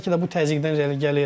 Bəlkə də bu təzyiqdən irəli gəlir.